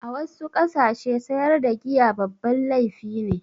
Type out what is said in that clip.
A wassu ƙasashe sayar da giya babban laifi ne